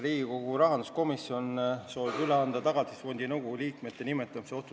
Riigikogu rahanduskomisjon soovib üle anda Riigikogu otsuse "Tagatisfondi nõukogu liikmete nimetamine" eelnõu.